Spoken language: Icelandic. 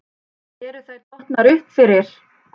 Eru þær dottnar upp fyrir?